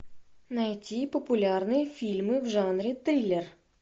найти популярные фильмы в жанре триллер